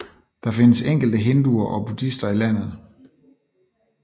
Der findes enkelte hinduer og buddhister i landet